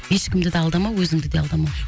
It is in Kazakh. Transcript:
ешкімді де алдамау өзіңді де алдамау